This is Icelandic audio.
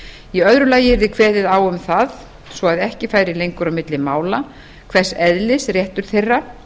í öðru lagi yrði kveðið á um það svo að ekki færi lengur á milli mála hvers eðlis réttur þeirra